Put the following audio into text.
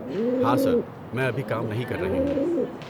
ہاں سر، میں ابھی کام نہیں کر رہی ہوں۔